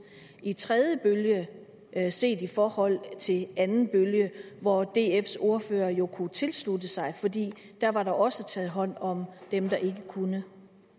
i tredje bølge set i forhold til anden bølge hvor dfs ordfører jo kunne tilslutte sig fordi der var der også taget hånd om dem der ikke kunne